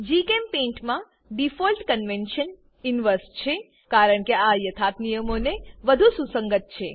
જીચેમ્પેઇન્ટ મા default convention inverse છે કારણકે આ યથાર્થ નિયમોનું વધુ સુસંગત